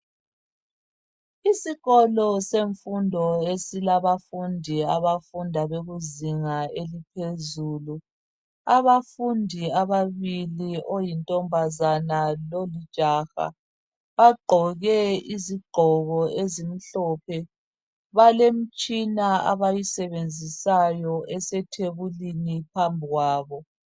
Isikolo semfundo esilabafundi abafunda bekuzinga eliphezulu. Abafundi ababili oyintombazana lolijaha bagqoke izigqoko ezimhlophe balemitshina abayisebenzisayo esethebulini phambi kwabo.